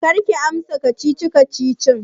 Karki amsa kacici-kacicin!